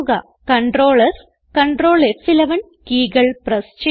Ctrl S Ctrl ഫ്11 keyകൾ press ചെയ്യുക